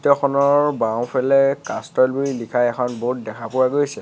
খনৰ বাওঁফালে কাষ্ট্ৰল বুলি লিখা এখন বোৰ্ড দেখা পোৱা গৈছে।